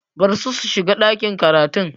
Barsu su shiga ɗakin karatun!